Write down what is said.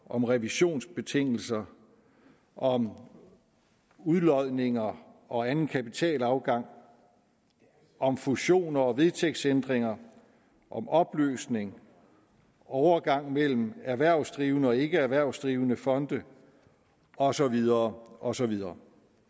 om revisionsbestemmelser om udlodninger og anden kapitalafgang om fusioner og vedtægtsændringer og om opløsning og overgang mellem erhvervsdrivende og ikkeerhvervsdrivende fonde og så videre og så videre